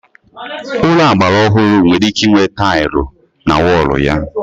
Ụlọ agbara ọhụrụ nwere ike inwe tailụ na wọlụ ya